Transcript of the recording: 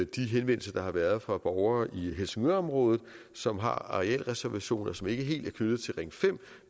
de henvendelser der har været fra borgere i helsingørområdet som har arealreservationer som ikke helt er knyttet til ring fem